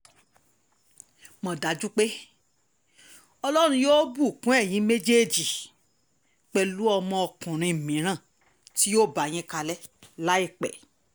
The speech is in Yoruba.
mọ̀ dájú pé ọlọ́run yóò bùkún ẹ̀yin méjèèjì pẹ̀lú ọmọkùnrin mìíràn tí yóò bá yín kalẹ̀ láìpẹ́